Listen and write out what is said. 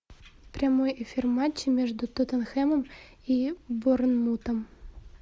прямой эфир матча между тоттенхэмом и борнмутом